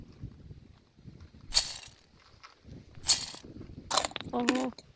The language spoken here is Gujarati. હા હવ